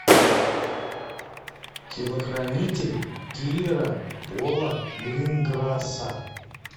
телохранитель киллера пола гринграсса